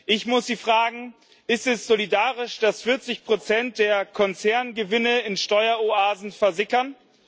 Ich muss Sie fragen Ist es solidarisch, dass 40 der Konzerngewinne in Steueroasen versickern?